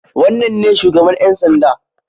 Wannan ne shugaban ƴan sanda.